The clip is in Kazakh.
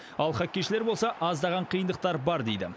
ал хоккейшілер болса аздаған қиындықтар бар дейді